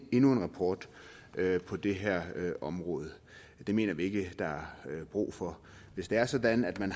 endnu en rapport på det her område det mener vi ikke der er brug for hvis det er sådan at man